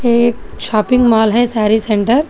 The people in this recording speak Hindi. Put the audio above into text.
ये एक शॉपिंग मॉल है साड़ी सेंटर ।